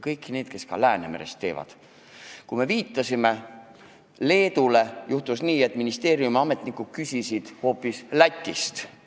Me viitasime ettepanekut tehes Leedule, aga juhtus nii, et ministeeriumi ametnikud küsisid asja kohta hoopis Lätist.